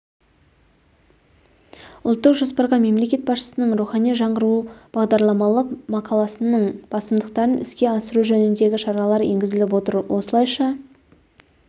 ұлттық жоспарға мемлекет басшысының рухани жаңғыру бағдарламалық мақаласының басымдықтарын іске асыру жөніндегі шаралар енгізіліп отыр осылайша